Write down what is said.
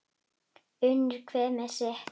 Unir hver með sitt.